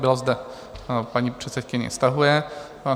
Byla zde paní předsedkyně, stahuje.